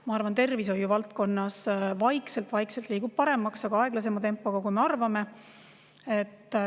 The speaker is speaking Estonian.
Ma arvan, et tervishoiu valdkonnas vaikselt-vaikselt läheb ka paremaks, aga aeglasema tempoga, kui me arvame.